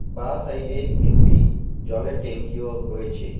বাঁ সাইড -এ একটি জলের ট্যাঙ্কিও রয়েছে।